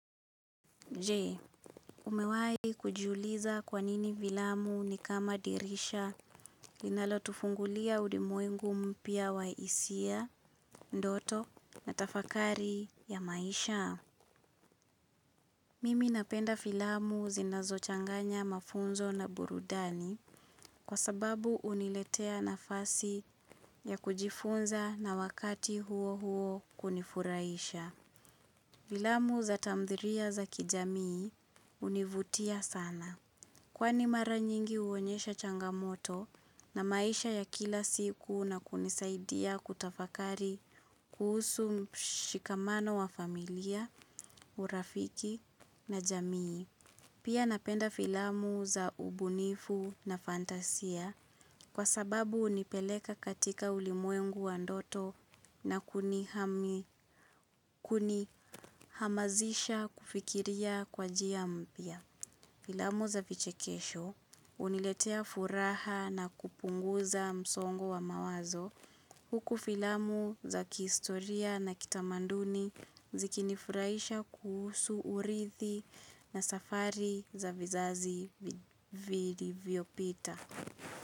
Je, umewai kujuliza kwa nini filamu ni kama dirisha linalotufungulia ulimwengu mpya wa hisia, ndoto na tafakari ya maisha? Mimi napenda filamu zinazochanganya mafunzo na burudani kwa sababu huniletea nafasi ya kujifunza na wakati huo huo kunifuraisha. Filamu za tamthilia za kijamii hunivutia sana. Kwani mara nyingi huonyesha changamoto na maisha ya kila siku na kunisaidia kutafakari kuhusu mshikamano wa familia, urafiki na jamii. Pia napenda filamu za ubunifu na fantasia kwa sababu hunipeleka katika ulimwengu wa ndoto na kunihamasisha kufikiria kwa jia mpia. Filamu za vichekesho huniletea furaha na kupunguza msongo wa mawazo. Huku filamu za kihistoria na kitamaduni zikinifurahisha kuhusu urithi na safari za vizazi vilivyopita.